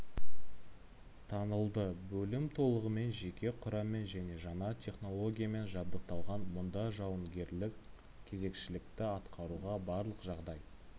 танылды бөлім толығымен жеке құраммен және жаңа технологиямен жабдықталған мұнда жауынгерлік кезекшілікті атқаруға барлық жағдай